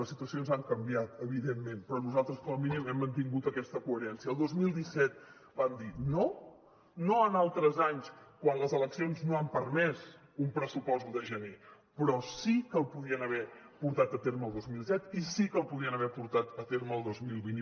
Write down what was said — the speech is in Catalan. les situacions han canviat evidentment però nosaltres com a mínim hem mantingut aquesta coherència el dos mil disset vam dir no no en altres anys quan les eleccions no han permès un pressupost l’un de gener però sí que el podien haver portat a terme el dos mil disset i sí que el podien haver portat a terme el dos mil vint